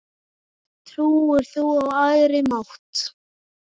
Trúir þú á æðri mátt?